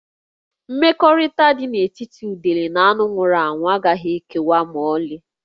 Mmekọrịta dị n'etiti udele na anụ nwụrụ anwụ agaghị ekewa ma ọlị